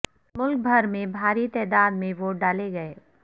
ملک بھر میں بھاری تعداد میں ووٹ ڈالے گئے